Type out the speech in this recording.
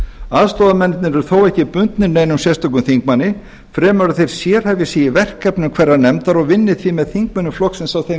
aðstoðarmennirnir eru þó ekki bundin neinum sérstökum þingmanni fremur að þeir sérhæfi sig í verkefnum hverrar nefndar og vinni því með þingmönnum flokksins á þeim